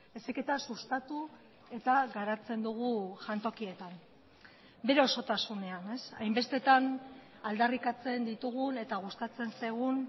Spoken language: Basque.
heziketa sustatu eta garatzen dugu jantokietan bere osotasunean hainbestetan aldarrikatzen ditugun eta gustatzen zaigun